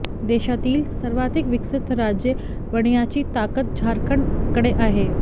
देशातील सर्वाधिक विकसित राज्य बनण्याची ताकद झारखंडकडे आहे